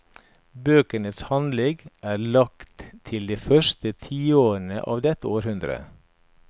Bøkenes handling er lagt til de første tiårene av dette århundre.